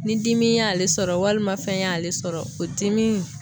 Ni dimi y'ale sɔrɔ walima fɛn y'ale sɔrɔ, o dimi